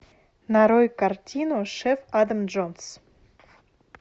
нарой картину шеф адам джонс